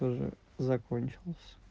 уже закончилась